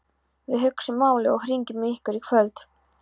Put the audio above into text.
Við hugsum málið og hringjum í ykkur í kvöld